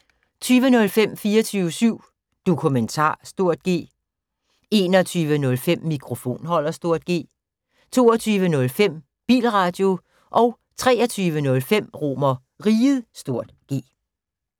20:05: 24syv Dokumentar (G) 21:05: Mikrofonholder (G) 22:05: Bilradio 23:05: RomerRiget (G)